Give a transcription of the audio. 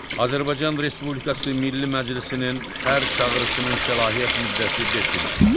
Azərbaycan Respublikası Milli Məclisinin hər çağırışının səlahiyyət müddəti beş ildir.